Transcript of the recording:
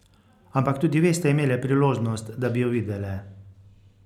Ampak tudi ve ste imele priložnost, da bi jo videle.